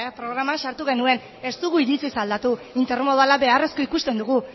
programan sartu genuen ez dugu iritziz aldatu intermodala beharrezkoa ikusten dugu